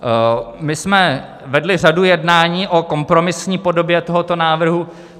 My jsme vedli řadu jednání o kompromisní podobě tohoto návrhu.